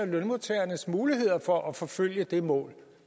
lønmodtagernes muligheder for at forfølge det mål